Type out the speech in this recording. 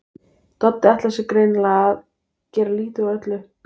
Doddi ætlar sér greinilega að gera lítið úr öllu.